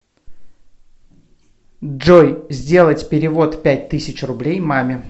джой сделать перевод пять тысяч рублей маме